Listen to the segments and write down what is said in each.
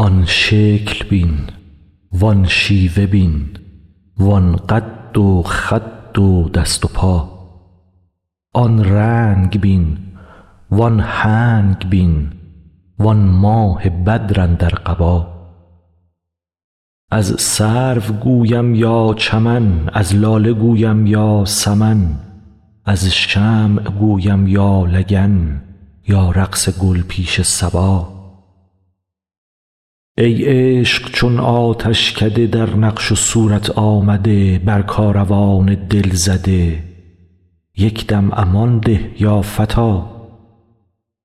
آن شکل بین وان شیوه بین وان قد و خد و دست و پا آن رنگ بین وان هنگ بین وان ماه بدر اندر قبا از سرو گویم یا چمن از لاله گویم یا سمن از شمع گویم یا لگن یا رقص گل پیش صبا ای عشق چون آتشکده در نقش و صورت آمده بر کاروان دل زده یک دم امان ده یا فتی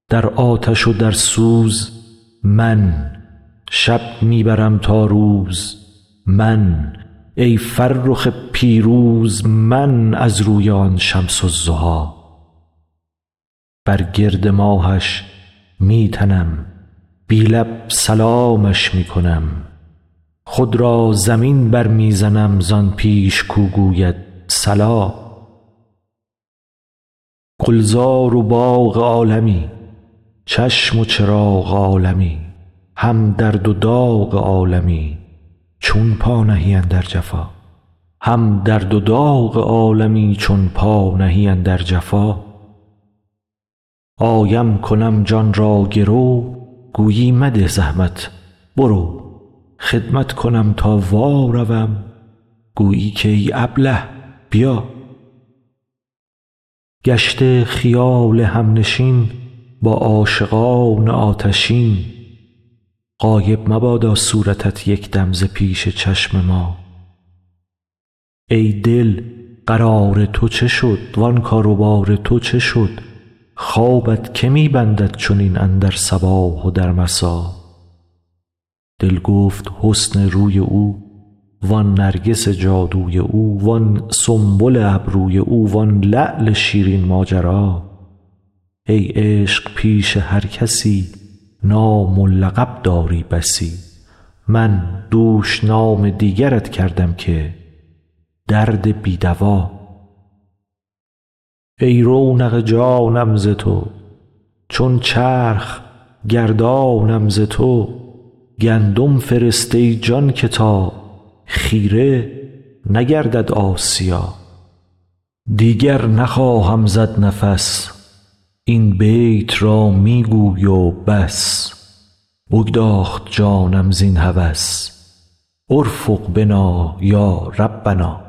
در آتش و در سوز من شب می برم تا روز من ای فرخ پیروز من از روی آن شمس الضحی بر گرد ماهش می تنم بی لب سلامش می کنم خود را زمین برمی زنم زان پیش کو گوید صلا گلزار و باغ عالمی چشم و چراغ عالمی هم درد و داغ عالمی چون پا نهی اندر جفا آیم کنم جان را گرو گویی مده زحمت برو خدمت کنم تا واروم گویی که ای ابله بیا گشته خیال همنشین با عاشقان آتشین غایب مبادا صورتت یک دم ز پیش چشم ما ای دل قرار تو چه شد وان کار و بار تو چه شد خوابت که می بندد چنین اندر صباح و در مسا دل گفت حسن روی او وان نرگس جادوی او وان سنبل ابروی او وان لعل شیرین ماجرا ای عشق پیش هر کسی نام و لقب داری بسی من دوش نام دیگرت کردم که درد بی دوا ای رونق جانم ز تو چون چرخ گردانم ز تو گندم فرست ای جان که تا خیره نگردد آسیا دیگر نخواهم زد نفس این بیت را می گوی و بس بگداخت جانم زین هوس ارفق بنا یا ربنا